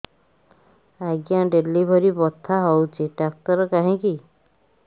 ଆଜ୍ଞା ଡେଲିଭରି ବଥା ହଉଚି ଡାକ୍ତର କାହିଁ କି